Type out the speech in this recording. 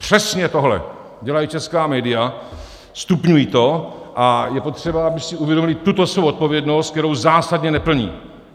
Přesně tohle dělají česká média, stupňují to a je potřeba, aby si uvědomila tuto svou odpovědnost, kterou zásadně neplní.